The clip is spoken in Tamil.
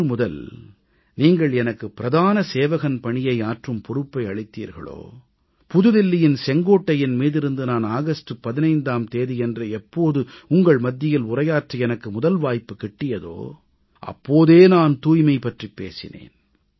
என்று நீங்கள் எனக்கு பிரதான சேவகன் பணியை ஆற்றும் பொறுப்பை அளித்தீர்களோ புது தில்லியின் செங்கோட்டையின் மீதிருந்து நான் ஆகஸ்ட் 15ஆம் தேதியன்று எப்போது உங்கள் மத்தியில் உரையாற்ற எனக்கு முதல் வாய்ப்பு கிட்டியதோ அப்போதே நான் தூய்மை பற்றிப் பேசினேன்